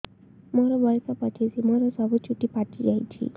ମୋର ବୟସ ପଚିଶି ମୋର ସବୁ ଚୁଟି ପାଚି ଯାଇଛି